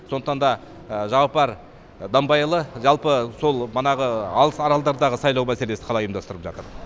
сондықтан да жағыппар дамбайұлы жалпы сол манағы алыс аралдардағы сайлау мәселесі қалай ұйымдастырылып жатыр